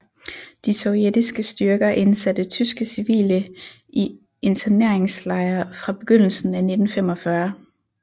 De sovjetiske styrker indsatte tyske civile i interneringslejre fra begyndelsen af 1945